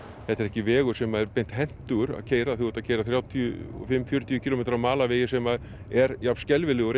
þetta er ekki vegur sem er beint hentugur að keyra þegar þú ert að keyra þrjátíu og fimm til fjörutíu kílómetra á malarvegi sem er jafn skelfilegur